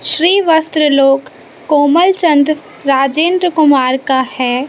श्री वस्त्र लोक कोमलचंद राजेंद्र कुमार का है।